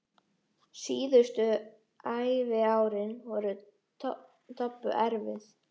Síðustu æviárin voru Tobbu erfið.